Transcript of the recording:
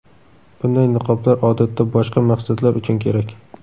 Bunday niqoblar odatda boshqa maqsadlar uchun kerak.